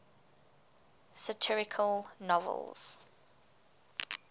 satirical novels